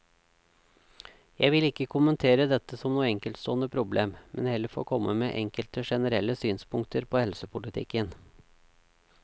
Jeg vil ikke kommentere dette som noe enkeltstående problem, men heller få komme med enkelte generelle synspunkter på helsepolitikken.